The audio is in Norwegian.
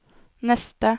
neste